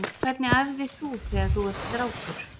Hvernig æfði þú þegar þú varst strákur?